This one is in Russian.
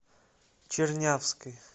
чернявской